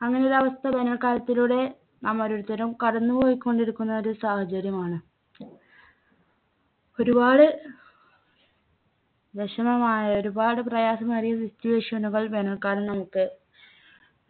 അങ്ങനെ ഒരവസ്ഥ വേനൽക്കാലത്തിലൂടെ നാം ഓരോരുത്തരും കടന്നുപോയികൊണ്ടിരിക്കുന്ന ഒരു സാഹചര്യമാണ് ഒരുപാട് വിഷമമായ ഒരുപാട് പ്രയാസമേറിയ situation നുകൾ വേനൽക്കാലം നമുക്ക്